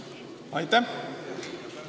Aitäh!